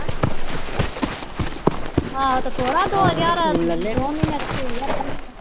ਆਹੋ ਤੇ ਥੋੜ੍ਹਾ ਦੋ ਹਜ਼ਾਰ ਦੋਵਾਂ ਮਹੀਨਿਆਂ ਚ ਛੇ ਹਜ਼ਾਰ ਬਣ ਜਾਂਦਾ।